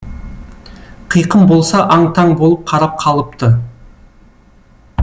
қиқым болса аң таң болып қарап қалыпты